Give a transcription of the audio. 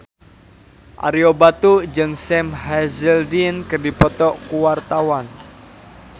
Ario Batu jeung Sam Hazeldine keur dipoto ku wartawan